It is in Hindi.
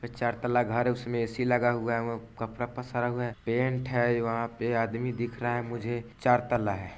चार तल्ला घर है उसमे ए.सी. लगा हुआ है वहां कपड़ा पसारा हुआ है पेंट है वहां पे आदमी दिखा रहा है मुझे चार तल्ला है।